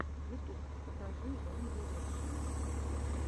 ютуб покажи ван дирекшен